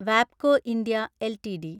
വാബ്കോ India LTD